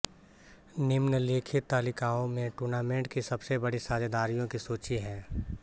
निम्नलिखित तालिकाओं में टूर्नामेंट की सबसे बड़ी साझेदारियों की सूची है